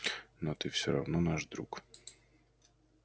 но ты все равно наш друг